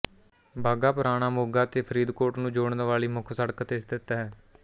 ਬਾਘਾ ਪੁਰਾਣਾ ਮੋਗਾ ਅਤੇ ਫਰੀਦਕੋਟ ਨੂੰ ਜੋੜਨ ਵਾਲੀ ਮੁੱਖ ਸੜਕ ਤੇ ਸਥਿਤ ਹੈ